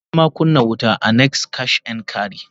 Ni nama kunna wuta a "next Cash n carry".